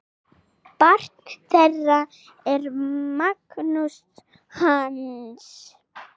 Barn þeirra er Magnús Hans.